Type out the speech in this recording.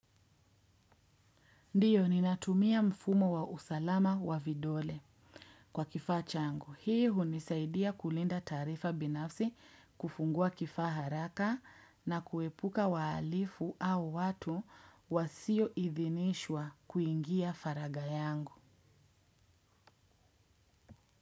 Ndiyo ninatumia mfumo wa usalama wa vidole kwa kifaa changu. Hii hunisaidia kulinda taarifa binafsi kufungua kifaa haraka na kuepuka wahalifu au watu wasioidhinishwa kuingia faragha yangu.